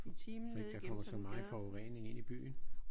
Så ikke der kommer så meget forurening ind i byen